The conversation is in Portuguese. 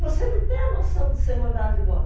Você não tem a noção de ser mandado embora.